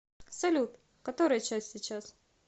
салют который час сейчас